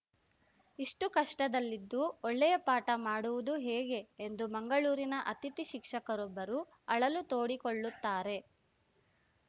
ಇಷ್ಟುಕಷ್ಟದಲ್ಲಿದ್ದು ಒಳ್ಳೆಯ ಪಾಠ ಮಾಡುವುದು ಹೇಗೆ ಎಂದು ಮಂಗಳೂರಿನ ಅತಿಥಿ ಶಿಕ್ಷಕರೊಬ್ಬರು ಅಳಲು ತೋಡಿಕೊಳ್ಳುತ್ತಾರೆ